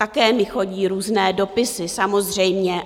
Také mi chodí různé dopisy, samozřejmě.